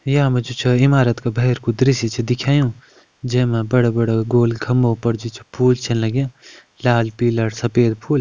यामा जु छ इमारत का भैर कू दृश्य छ दिखायुं जै मा बड़ा बड़ा गोल खम्बो पर जु छ फूल छन लग्यां लाल पीला अर सफ़ेद फूल।